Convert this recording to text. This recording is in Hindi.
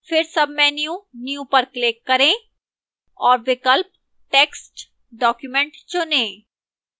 फिर sub menu new पर click करें और विकल्प text document चुनें